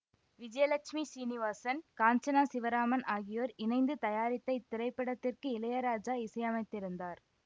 விஜயலட்சுமி சீனிவாசன் காஞ்சனா சிவராமன் ஆகியோர் இணைந்து தயாரித்த இத்திரைப்படத்திற்கு இளையராஜா இசையமைத்திருந்தார்